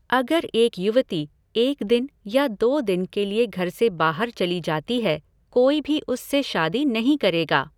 अगर एक युवती एक दिन या दो दिन के लिए घर से बाहर चली जाती है कोई भी उससे शादी नहीं करेगा।